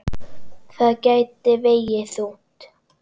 Það gæti vegið þungt.